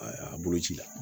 A boloci la